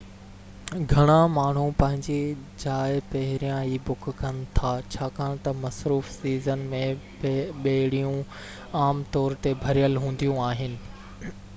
گهڻا ماڻهو پنهنجي جاءَ پهريان ئي بُڪ ڪن ٿا ڇاڪان تہ مصروف سيزن م ٻيڙيون عام طور تي ڀريل هونديون آهن